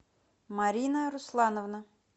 марина руслановна